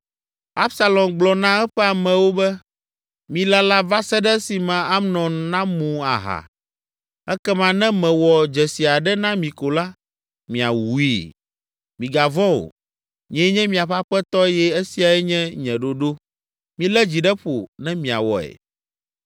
Absalom gblɔ na eƒe amewo be, “Milala va se ɖe esime Amnon namu aha, ekema ne mewɔ dzesi aɖe na mi ko la, miawui! Migavɔ̃ o, nyee nye miaƒe aƒetɔ eye esiae nye nye ɖoɖo. Milé dzi ɖe ƒo ne miawɔe!”